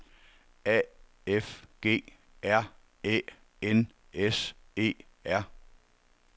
A F G R Æ N S E R